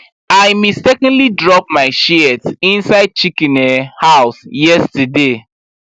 i mistakenly drop my shears inside chicken um house yesterday